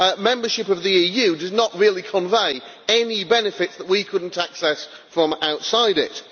membership of the EU does not really convey any benefits that we could not access from outside it.